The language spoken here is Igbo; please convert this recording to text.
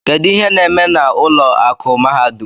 Kedu ihe na-eme na ụlọ akụ mahadum?